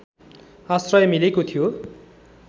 आश्रय मिलेको थियो